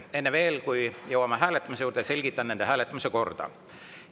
Enne veel, kui jõuame hääletamise juurde, selgitan nende hääletamise korda.